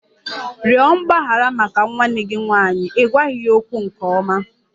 Rịọ mgbaghara maka nwanne gị nwanyị! Ị gwaghị ya okwu nke ọma.